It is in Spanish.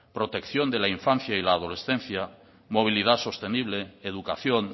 protección de la infancia y la adolescencia movilidad sostenible educación